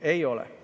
Ei ole.